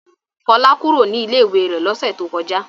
Fọlá kúrò ní ilé-ìwé rẹ̀ lọ́sẹ̀ tó kọjá.